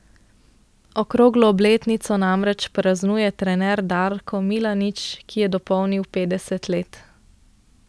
Okroglo obletnico namreč praznuje trener Darko Milanič, ki je dopolnil petdeset let.